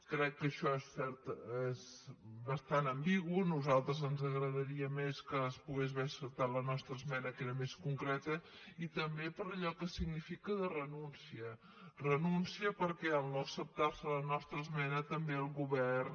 crec que això és bastant ambigu a nosaltres ens agradaria més que es pogués haver acceptat la nostra esmena que era més concreta i també per allò que significa de renúncia renúncia perquè en no acceptar se la nostra esmena també el govern